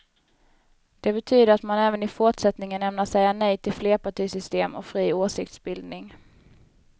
Det betyder att man även i fortsättningen ämnar säga nej till flerpartisystem och fri åsiktsbildning.